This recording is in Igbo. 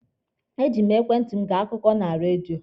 E ji m ekwentị mụ gee akụkọ na redio.